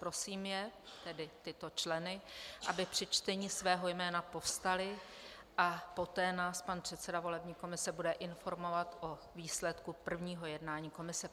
Prosím je, tedy tyto členy, aby při čtení svého jména povstali, a poté nás pan předseda volební komise bude informovat o výsledku prvního jednání komise.